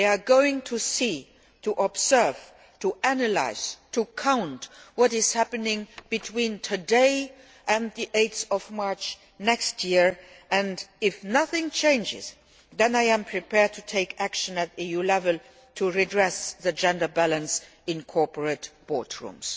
We are going to see, to observe, to analyse and to count what is happening between today and 8 March next year, and if nothing changes, then I am prepared to take action at EU level to redress the gender balance in corporate board rooms.